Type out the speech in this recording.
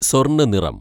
സ്വർണ്ണ നിറം